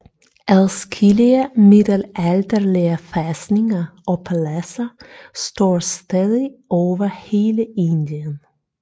Adskillige middelalderlige fæstninger og paladser står stadig over hele Indien